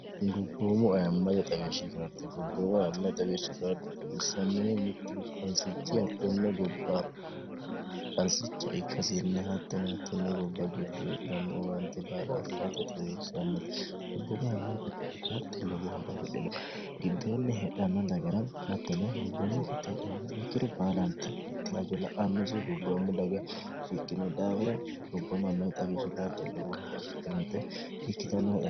gubboommu ayamme xawieshshi kaarte gobboomu ayamm xawishshi kaarde xaissammihu mittu qansichi hattenne gobbaa pharsicha ikkasiinna hattonattinne gobba gidde dannu uwaante baalafi'rate taseessannote gubboomu amm da karde logo horo fidhilo giddoonni hedhannatagara hatteno gubboommu kitte hedhanna ikkiru baalanti atti hajo la'annosi gubboommo daga ikkinu dhaafira gubbom mmi xawishshi karde logo horo fidhinote ikkitann